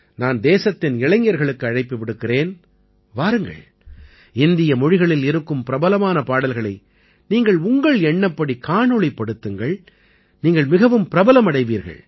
நான் தேசத்தின் இளைஞர்களுக்கு அழைப்பு விடுக்கிறேன் வாருங்கள் இந்திய மொழிகளில் இருக்கும் பிரபலமான பாடல்களை நீங்கள் உங்கள் எண்ணப்படி காணொளிப்படுத்துங்கள் நீங்கள் மிகவும் பிரபலமடைவீர்கள்